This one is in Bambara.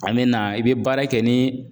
A mɛna i bɛ baara kɛ ni